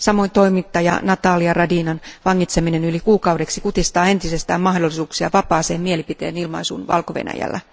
Samoin toimittaja Natalia Radinan vangitseminen yli kuukaudeksi kutistaa entisestään mahdollisuuksia vapaaseen mielipiteen ilmaisuun Valko Venäjällä.